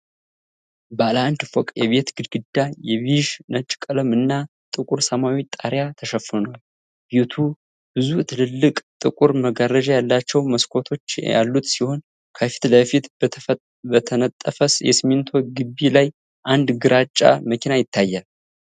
ባለ አንድ ፎቅ የቤት ግድግዳ የቢዥ-ነጭ ቀለም እና ጥቁር ሰማያዊ ጣሪያ ተሸፍኗል። ቤቱ ብዙ ትላልቅ፣ ጥቁር መጋረጃ ያላቸው መስኮቶች ያሉት ሲሆን፣ ከፊት ለፊቱ በተነጠፈ የሲሚንቶ ግቢ ላይ አንድ ግራጫ መኪና ይታያል።